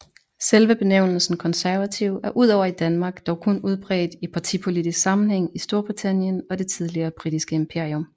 Selve benævnelsen konservativ er udover i Danmark dog kun udbredt i partipolitisk sammenhæng i Storbritannien og det tidligere britiske imperium